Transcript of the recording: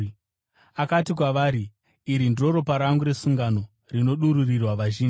Akati kwavari, “Iri ndiro ropa rangu resungano, rinodururirwa vazhinji.